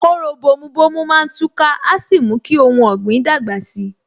Kóró bomu bomu má tú ká, a sì mú kí ohun ọ̀gbìn dàgbà si